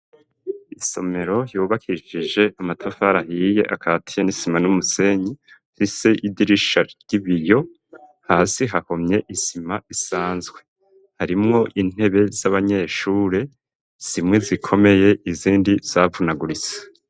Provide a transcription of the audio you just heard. Isomero ryubakishije amatafari ahiye akatiye n'isima n'umusenyi mfise idirisha ry'ibiyo hasi hakomeye isima isanzwe harimwo intebe z'abanyeshure zimwe zikomeye izindi zavunaguritse.